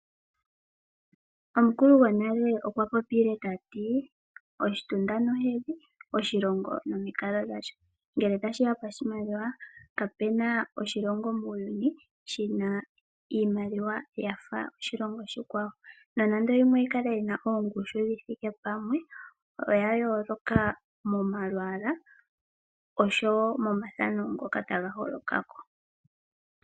Omukulu gonale okwa popile tati oshitunda nohedhi, oshilongo nomikalo dhasho. Ngele tashi ya poshimaliwa ka pu na oshilongo muuyuni shi na iimaliwa yafa oshilongo oshikwawo, nonande yimwe oyi na ongushu yi thike pamwe oya yooloka momalwaala osho wo momathano ngoka ta ga holoka ko.